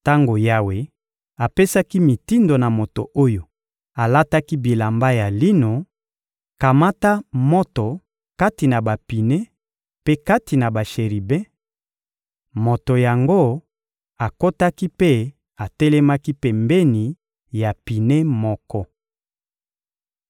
Tango Yawe apesaki mitindo na moto oyo alataki bilamba ya lino: «Kamata moto kati na bapine mpe kati na basheribe,» moto yango akotaki mpe atelemaki pembeni ya pine moko.